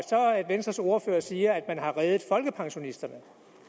venstres ordfører siger at man har reddet folkepensionisterne